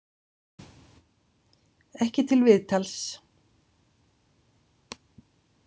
Ekki til viðtals.